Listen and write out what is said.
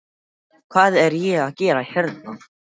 Hvað er ég að gera hérna?